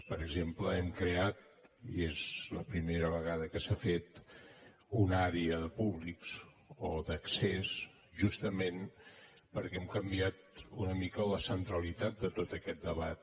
per exemple hem creat i és la primera vegada que s’ha fet una àrea de públics o d’accés justament perquè hem canviat una mica la centralitat de tot aquest debat